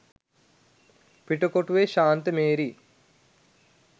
පිටකොටුවේ ශාන්ත මේරි,